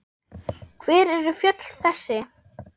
Hver eru fjöll þessi?